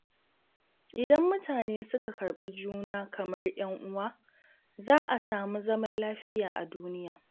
Idan mutane suka karɓi juna kamar 'yan uwa, za a samu zaman lafiya a duniya.